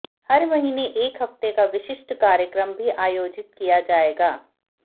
हर महीने एक हफ्ते का विशिष्ट कार्यक्रम भी आयोजित किया जाएगा